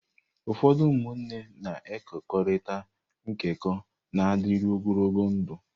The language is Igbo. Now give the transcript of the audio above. Ụfọdụ ụmụnne na-ekekọrịta nkekọ na-adịru ogologo ndụ.